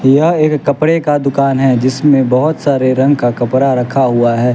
यह एक कपड़े का दुकान है जिसमें बहुत सारे रंग का कपड़ा रखा हुआ है।